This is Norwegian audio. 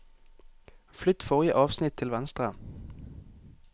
Flytt forrige avsnitt til venstre